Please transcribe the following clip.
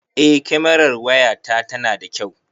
Eh kamerar waya ta tana da kyau.